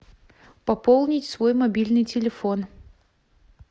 пополнить свой мобильный телефон